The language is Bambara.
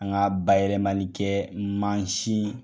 An ka ba yɛlɛmali kɛ mansin